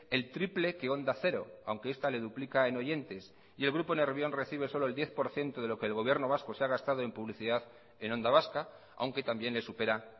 el triple que onda cero aunque esta le duplica en oyentes y el grupo nervión recibe solo el diez por ciento de lo que el gobierno vasco se ha gastado en publicidad en onda vasca aunque también le supera